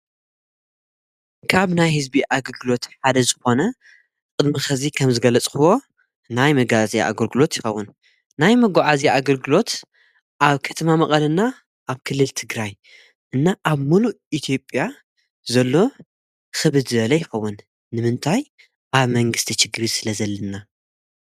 ካብ ናይ ሕዝቢ ኣገልግሎት ሓደ ዝኾነ ቅድሚ ኸዚ ከም ዝገለጽኽዎ ናይ መጋእዝይ ኣገልግሎት ይኸቡን ናይ መጎዓ እዚ ኣገልግሎት ኣብ ከተማ መቐለና ኣብ ክልል ትግራይ እና ኣብ ምሉ ኢቲጴያ ዘሎ ኽብ ዝለ ኣይኸውን ንምንታይ ኣብ መንግሥቲ ጭግሪ ስለ ዘልና።